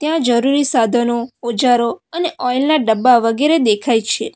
અહીંયા જરૂરી સાધનો ઓજારો અને ઓઇલના ડબ્બા વગેરે દેખાય છે.